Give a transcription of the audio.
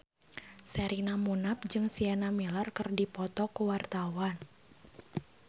Sherina Munaf jeung Sienna Miller keur dipoto ku wartawan